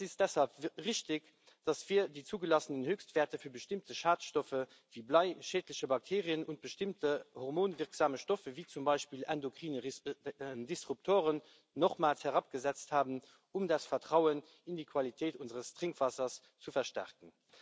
Es ist deshalb richtig, dass wir die zugelassenen Höchstwerte für bestimmte Schadstoffe wie Blei, schädliche Bakterien und bestimmte hormonwirksame Stoffe wie zum Beispiel endokrine Disruptoren nochmals herabgesetzt haben, um das Vertrauen in die Qualität unseres Trinkwassers zu verstärken.